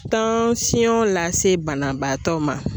Tansiyɔn lase banabaatɔ ma